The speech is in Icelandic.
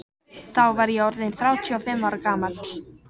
Þá var ég orð inn þrjátíu og fimm ára gamall.